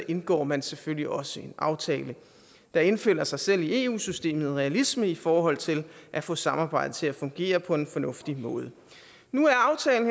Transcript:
indgår man selvfølgelig også en aftale der indfinder sig selv i eu systemet en realisme i forhold til at få samarbejdet til at fungere på en fornuftig måde nu